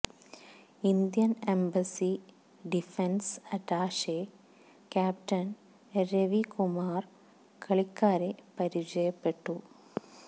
Indian embassy defence attache captain Ravi Kumar കളിക്കാരെ പരിചയപ്പെട്ടു